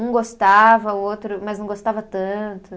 Um gostava, o outro mas não gostava tanto.